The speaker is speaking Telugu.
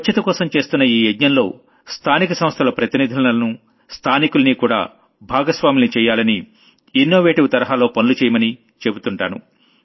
స్వచ్ఛతకోసం చేస్తున్న ఈ యజ్ఞంలో స్థానిక సంస్థల ప్రతినిధులను స్థానికుల్ని కూడా భాగస్వాముల్ని చెయ్యాలని ఇన్నోవేటివ్ తరహాలో పనులు చెయ్యమని చెబుతుంటాను